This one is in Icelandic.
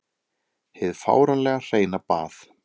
Hið fáránlega hreina bað.